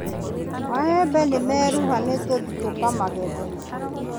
Maembe nĩmeruha nĩtũthĩ tũkamagethe.